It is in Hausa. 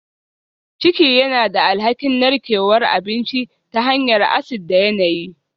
Ciki yana da alhakin narkewar abinci ta hanyar acid da yanayi